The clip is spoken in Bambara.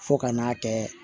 Fo ka n'a kɛ